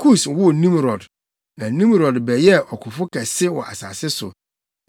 Kus woo Nimrod. Na Nimrod bɛyɛɛ ɔkofo kɛse wɔ asase so.